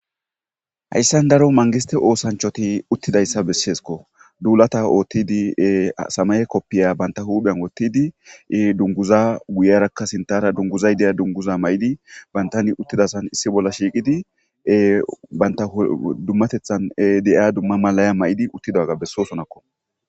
Hayissan daro manigisite oththanichati utidayissa besesikko .dulata otiddi samaye koppiya banitta huphphenni woththidi duniguzza guyirakka sinitara duniguzayi diya duniguzza mayiddi banittanni utidasanni issi bolla shiqqiddi banitta dummateththanni de'iya dumma mauwa mayiddi uttidaga besosonakko.